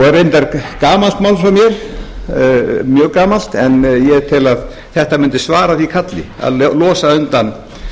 er reyndar gamalt mál frá mér mjög gamalt en ég tel að þetta mundi svara því kalli að losa undan